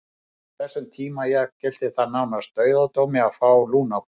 Á þessum tíma jafngilti það nánast dauðadómi að fá lungnabólgu.